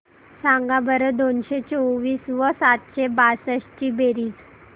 सांगा बरं दोनशे चोवीस व सातशे बासष्ट ची बेरीज